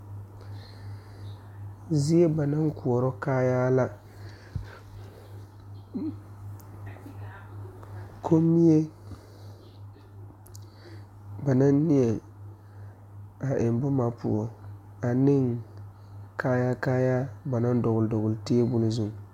Zie ba naŋ koɔrɔ kaayaa la kommie ba naŋ neɛŋ a eŋ boma poɔ aneŋ kaayaa kaayaa ba naŋ dɔgle dɔgle tabole zu.